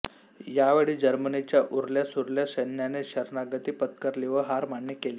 यावेळी जर्मनीच्या उरल्यासुरल्या सैन्याने शरणागती पत्करली व हार मान्य केली